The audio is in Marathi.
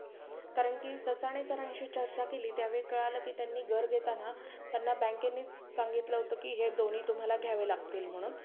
कारण की ससाणे सरांशी चर्चा केली त्यावेळी कळालं की त्यांनी घर घेताना त्यांना bankनी सांगितलं होतं की हे दोन्ही तुम्हाला घ्यावे लागतील म्हणून.